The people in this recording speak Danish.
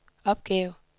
opgave